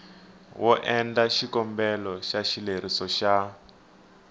endla xikombelo xa xileriso xa